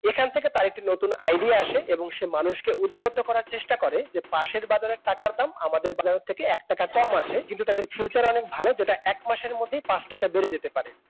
এখান থেকে তার একটি নতুন আইডিয়া আসে এবং সে মানুষকে উদ্বুদ্ধ করার চেষ্টা করে পাশের বাজারের টাকার দাম আমাদের বাজারের থেকে এক টাকা কম আছে। তাদের ফিউচার অনেক ভালো এক মাসের মধ্যে পাঁচ টাকা বেড়ে যেতে পারে